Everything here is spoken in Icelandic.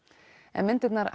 en myndirnar